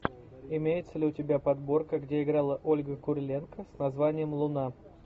имеется ли у тебя подборка где играла ольга куриленко с названием луна